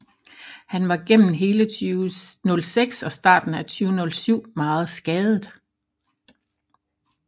Han var gennem hele 2006 og starten af 2007 meget skadet